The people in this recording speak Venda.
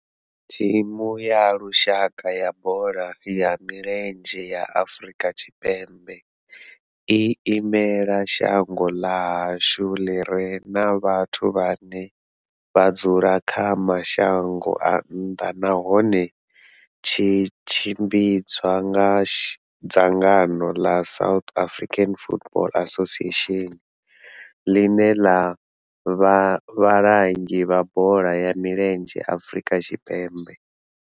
Thimu ya lushaka ya bola ya milenzhe ya Afrika Tshipembe i imela shango ḽa hashu ḽi re na vhathu vhane vha dzula kha mashango a nnḓa nahone tshi tshimbidzwa nga dzangano la South African Football Association, line la vha vhalangi vha bola ya milenzhe Afrika Tshipembe.